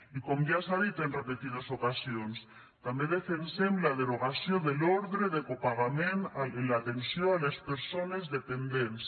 i com ja s’ha dit en repetides ocasions també defensem la derogació de l’ordre de copagament en l’atenció a les persones dependents